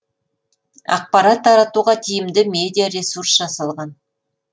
ақпарат таратуға тиімді медиаресурс жасалған